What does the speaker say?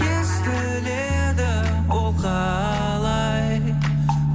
естіледі ол қалай